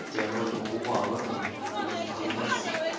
хотя я вроде покупал в этом блядь в динс